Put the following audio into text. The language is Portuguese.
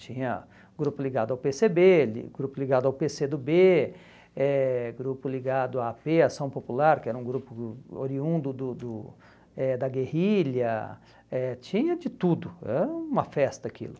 Tinha grupo ligado ao pê cê bê, grupo ligado ao pê cê do bê, eh grupo ligado à á pê, ação popular, que era um grupo oriundo do do eh da guerrilha, eh tinha de tudo, era uma festa aquilo.